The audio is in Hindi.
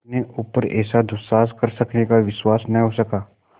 अपने ऊपर ऐसा दुस्साहस कर सकने का विश्वास न हो सका